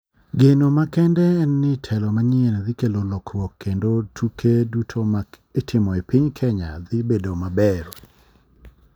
Geno makende en ni telo manyien dhi kelo lokruok kendo tuke duto ma itimo e piny kenya dhi bedo mabeyo